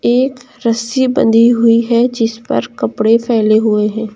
एक रस्सी बंधी हुई है जिस पर कपड़े फैले हुए हैं।